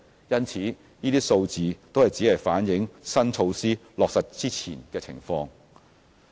因此，那些數字只是反映新措施落實前的情況。